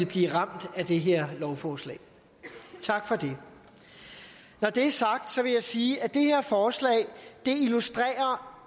bliver ramt af det her lovforslag tak for det når det er sagt vil jeg sige at det her forslag illustrerer